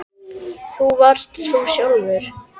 Þú varst þú sjálf.